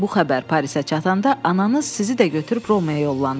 Bu xəbər Parisə çatanda, ananız sizi də götürüb Romaya yollandı.